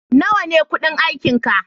Nawa ne kudin aikinka?